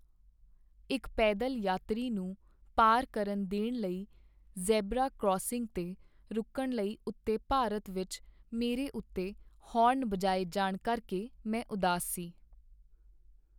ਇੱਕ ਪੈਦਲ ਯਾਤਰੀ ਨੂੰ ਪਾਰ ਕਰਨ ਦੇਣ ਲਈ ਜ਼ੈਬਰਾ ਕਰਾਸਿੰਗ 'ਤੇ ਰੁਕਣ ਲਈ ਉੱਤੇ ਭਾਰਤ ਵਿੱਚ ਮੇਰੇ ਉੱਤੇ ਹਾਰਨ ਬਜਾਏ ਜਾਣ ਕਰਕੇ ਮੈਂ ਉਦਾਸ ਸੀ।